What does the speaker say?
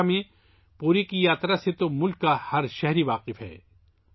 اڑیسہ میں پوری کی یاترا سے ملک کا ہر باشندہ واقف ہے